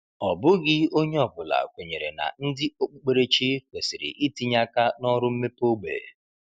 Ọ bụghị onye ọ bụla kwenyere na ndị okpukperechi kwesịrị itinye aka na ọrụ mmepe ógbè.